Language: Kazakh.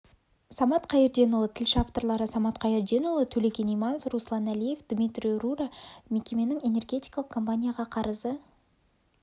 самат қайырденұлы тілші авторлары самат қайырденұлы төлеген иманов руслан әлиев дмитрий рура мекеменің энергетикалық компанияға қарызы